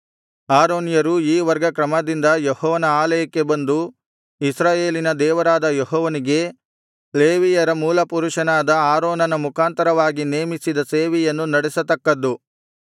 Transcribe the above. ಆರೋನ್ಯರು ಈ ವರ್ಗ ಕ್ರಮದಿಂದ ಯೆಹೋವನ ಆಲಯಕ್ಕೆ ಬಂದು ಇಸ್ರಾಯೇಲಿನ ದೇವರಾದ ಯೆಹೋವನಿಗೆ ಲೇವಿಯರ ಮೂಲಪುರುಷನಾದ ಆರೋನನ ಮುಖಾಂತರವಾಗಿ ನೇಮಿಸಿದ ಸೇವೆಯನ್ನು ನಡೆಸತಕ್ಕದ್ದು